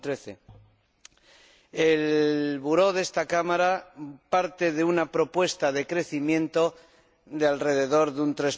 2013. La Mesa de esta Cámara parte de una propuesta de crecimiento de alrededor de un